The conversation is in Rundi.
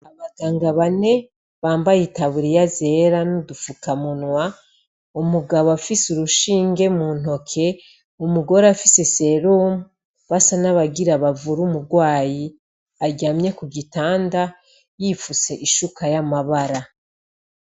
Abaganga bane bambaye itaburiya zera n'udufukamunwa , umugabo afise urushinge mu ntoke , umugore afise serum basa n'abagira bavure umugwayi aryamye ku gitanda yifutse ishuka y'amabara .